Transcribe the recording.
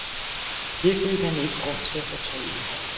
Det fik han ikke grund til at fortryde.